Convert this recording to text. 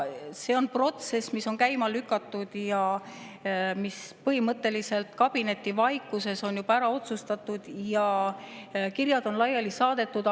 See on protsess, mis on käima lükatud ja mis põhimõtteliselt on kabinetivaikuses juba ära otsustatud, kirjad on laiali saadetud.